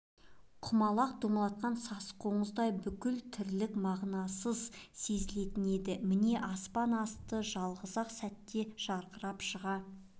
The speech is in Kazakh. құмалақ домалатқан сасық қоңыздай бүкіл тірлік мағынасыз сезілетін енді міне аспан асты жалғыз-ақ сәтте жарқырап шыға